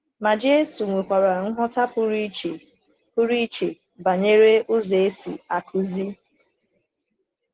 Ma Jésù nwekwara nghọta pụrụ iche pụrụ iche banyere ụzọ e si akụzi.